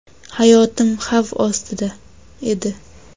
Hayotim xavf ostida edi.